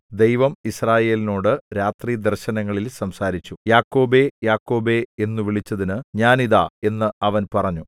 ദൈവം യിസ്രായേലിനോടു രാത്രി ദർശനങ്ങളിൽ സംസാരിച്ചു യാക്കോബേ യാക്കോബേ എന്നു വിളിച്ചതിനു ഞാൻ ഇതാ എന്ന് അവൻ പറഞ്ഞു